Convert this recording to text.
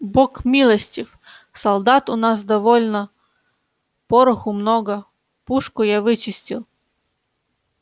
бог милостив солдат у нас довольно пороху много пушку я вычистил